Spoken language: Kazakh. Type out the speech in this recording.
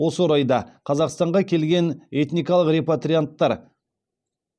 осы орайда қазақстанға келген этникалық репатрианттар